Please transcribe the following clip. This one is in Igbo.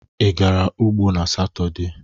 Ị gara ugbo n'Satọde?